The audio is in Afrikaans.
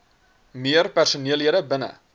meer personeellede binne